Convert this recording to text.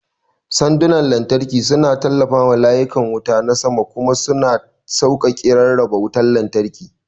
Sandunan lantarki suna tallafawa layukan wuta na sama kuma suna sauƙaƙe rarraba wutar lantarki.